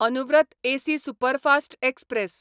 Anuvrat AC superfast express